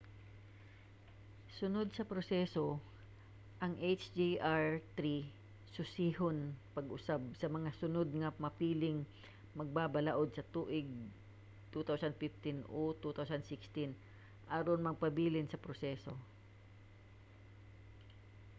sunod sa proseso ang hjr-3 susihon pag-usab sa mga sunod nga mapiling magbabalaod sa tuig 2015 o 2016 aron magpabilin sa proseso